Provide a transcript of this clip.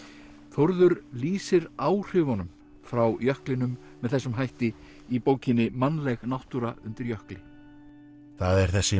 Þórður lýsir áhrifunum frá jöklinum með þessum hætti í bókinni mannleg náttúra undir jökli það er þessi